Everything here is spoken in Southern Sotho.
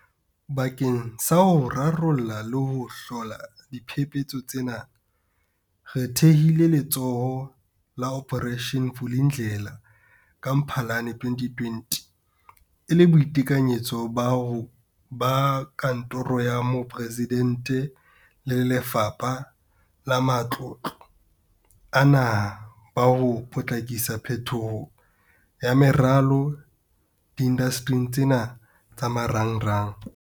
Bakeng sa ho rarolla le ho hlola diphephetso tsena, re thehile Letsholo la Operation Vulindlela ka Mphalane 2020 e le boikitlahetso ba Kantoro ya Moporesidente le Lefapha la Matlotlo a Naha ba ho potlakisa phetoho ya meralo diindastering tsena tsa marangrang.